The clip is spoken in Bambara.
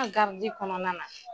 An garidi kɔnɔna na